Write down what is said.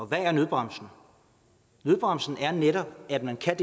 hvad er nødbremsen nødbremsen er netop at man kan